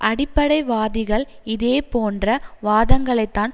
அடிப்படைவாதிகள் இதேபோன்ற வாதங்களைத்தான்